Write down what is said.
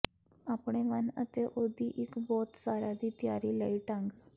ਆਪਣੇ ਵੰਨ ਅਤੇ ਉਹ ਦੀ ਇੱਕ ਬਹੁਤ ਸਾਰਾ ਦੀ ਤਿਆਰੀ ਲਈ ਢੰਗ